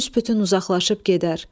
Büs-bütün uzaqlaşıb gedər.